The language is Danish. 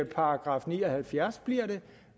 § ni og halvfjerds